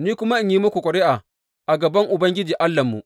Ni kuma in yi muku ƙuri’a a gaban Ubangiji Allahnmu.